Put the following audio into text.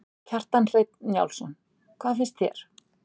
Kjartan Hreinn Njálsson: Hvað fannst þér?